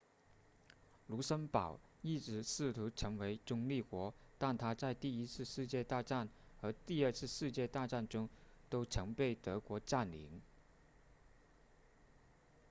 卢森堡一直试图成为中立国但它在第一次世界大战和第二次世界大战中都曾被德国占领